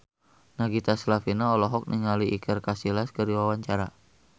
Nagita Slavina olohok ningali Iker Casillas keur diwawancara